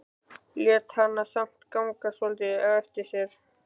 Lét hana samt ganga svolítið á eftir sér.